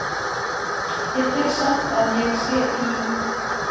Ég tel samt að ég sé í